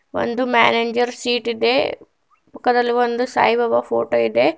ಒಂದು manager seat ಇದೆ ಪಕ್ಕದಲ್ಲಿ ಒಂದು ಸಾಯಿಬಾಬಾ ಫೋಟೋ ಇದೆ.